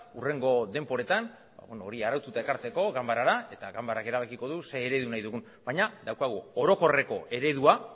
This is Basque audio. hurrengo denboretan hori araututa ekartzeko ganbarara eta ganbarak erabakiko du zer eredu nahi dugun baina daukagu orokorreko eredua